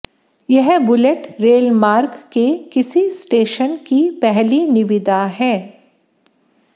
यह bullet rail मार्ग के किसी स्टेशन की पहली निविदा है